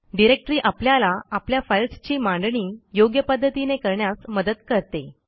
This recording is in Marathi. डिरेक्टरी आपल्याला आपल्या फाईल्सची मांडणी योग्य पध्दतीने करण्यास मदत करते